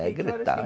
É, gritando.